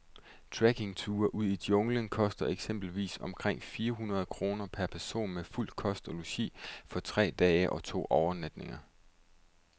Trekkingture ud i junglen koster eksempelvis omkring fire hundrede kroner per person med fuld kost og logi for tre dage og to overnatninger.